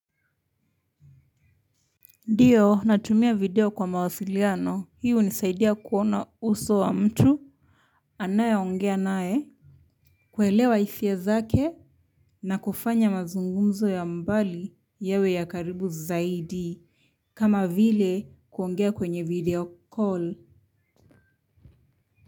Ndio natumia video kwa mawasiliano hii hunisaidia kuona uso wa mtu anaye ongea naye kuelewa hisia zake na kufanya mazungumzo ya mbali yawe ya karibu zaidi kama vile kuongea kwenye video call.